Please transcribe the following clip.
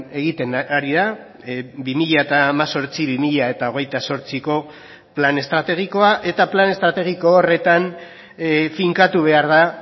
egiten ari da bi mila hemezortzi bi mila hogeita zortziko plan estrategikoa eta plan estrategiko horretan finkatu behar da